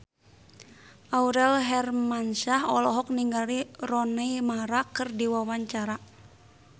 Aurel Hermansyah olohok ningali Rooney Mara keur diwawancara